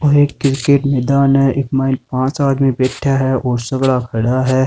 ओ एक किरकेट मैदान है इक माइन पांच आदमी बैठा है और सगला खड़ा है।